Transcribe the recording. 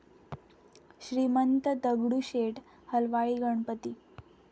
Shrimant Dagdusheth Halwai Ganpati